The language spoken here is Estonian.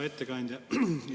Hea ettekandja!